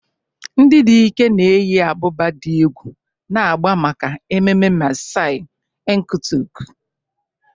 Ndị dike na-eyi ábụ́bà dị egwu na agba maka ememme Maasai Enkutuk.